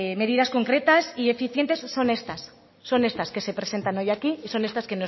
medidas concretas y eficientes que son estas son estas que se presenta hoy aquí y son estas